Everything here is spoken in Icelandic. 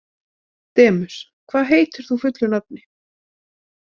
Demus, hvað heitir þú fullu nafni?